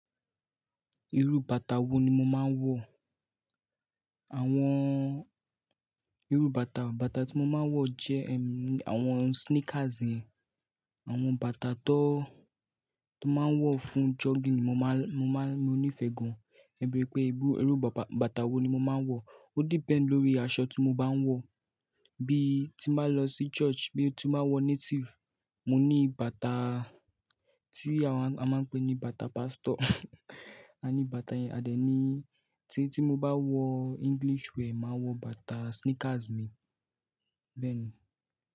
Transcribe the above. Irú bàtà wo ni mo máa ń wọ̀? Àwọn irú bàtà, bàtà tí mo máa ń wọ̀ jẹ́ ẹm, àwọn sneakers yẹn, àwọn bàtà tó, tó máa ń wọ̀ fún jogging ni mo máa ń, mo máa ń, mo nífẹ̀ẹ́ gan. Gẹ́gẹ́ bí pé irú bàtà wo ni mo máa ń wọ̀, o depend lórí aṣọ tí mo bá ń wọ̀. Bí tí bá lọ sí church, bí tí bá wọ native, mo ní bàtà tí a máa ń pè ní bàtà pastor. A ní bàtà yẹn, a dẹ̀ ní tí, tí mo bá wọ English wear, màá wọ bàtà sneakers mi. Bẹ́ẹ̀ ni.